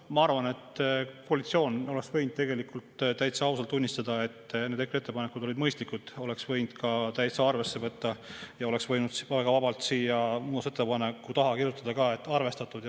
Ma arvan, et koalitsioon oleks võinud täitsa ausalt tunnistada, et need EKRE ettepanekud olid mõistlikud, oleks võinud neid ka arvesse võtta ja oleks võinud väga vabalt siia muudatusettepaneku taha kirjutada "arvestatud".